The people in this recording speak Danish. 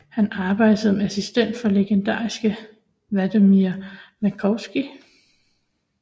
Han arbejdede som assistent for legendariske Vladimir Maksimov